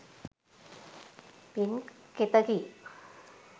පින් කෙතකි.